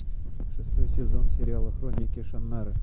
шестой сезон сериала хроники шаннары